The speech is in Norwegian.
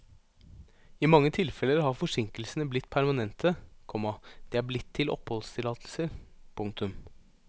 I mange tilfeller har forsinkelsene blitt permanente, komma de er blitt til oppholdstillatelser. punktum